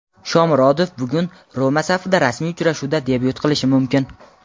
Shomurodov bugun "Roma" safida rasmiy uchrashuvda debyut qilishi mumkin.